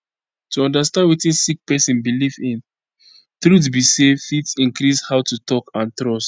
to understand wetin sick pesin belief in truth be say fit increase how to talk and trust